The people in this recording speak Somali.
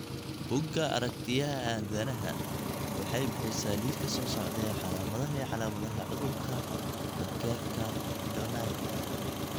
Bugga Aragtiyaha Aanadanaha waxay bixisaa liiska soo socda ee calaamadaha iyo calaamadaha cudurka Thakkerka Donnai.